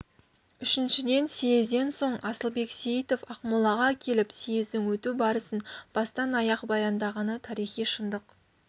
үшіншіден съезден соң асылбек сейітов ақмолаға келіп съездің өту барысын бастан-аяқ баяндағаны тарихи шындық